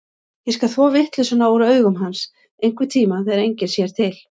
Ég skal þvo vitleysuna úr augum hans, einhverntíma þegar enginn sér til.